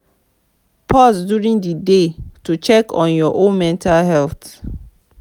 pause during di day to check on your own mental health